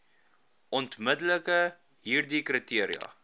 ontwikkel hieride kriteria